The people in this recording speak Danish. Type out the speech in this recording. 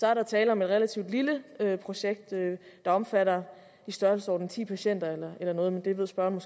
er der tale om et relativt lille projekt der omfatter i størrelsesordenen ti patienter eller noget men det ved spørgeren